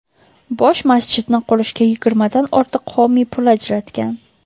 Bosh masjidni qurishga yigirmadan ortiq homiy pul ajratgan.